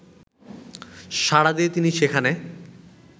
সাড়া দিয়ে তিনি সেখানে